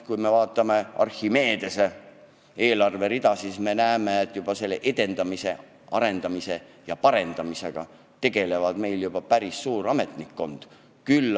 Kui me vaatame Archimedese eelarverida, siis näeme, et keele edendamise ja arendamisega tegeleb juba päris suur ametnikkond.